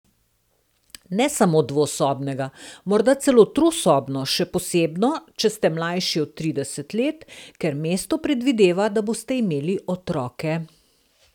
Ne samo dvosobnega, morda celo trosobno, še posebno če sta mlajši od trideset let, ker mesto predvideva, da boste imeli otroke.